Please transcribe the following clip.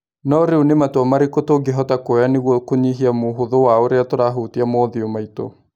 No rĩu nĩ matua marĩkũ tũngĩhota kuoya nĩguo kũnyihia mũhũthũ wa ũrĩa tũrahutia maũthiũ maitũ?